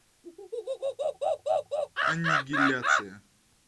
аннигиляция